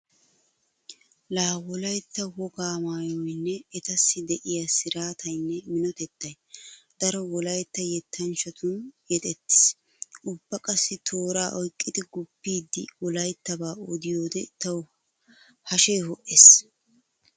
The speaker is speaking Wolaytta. Laa wolaytta wogaa maayoynne etassi diya siraataynne minotettay daro wolaytta yettanchchatun yexettiis. Ubba qassi tooraa oyqqidi guppiiddi wolayttabaa odiyoode tawu hashee ho'ees.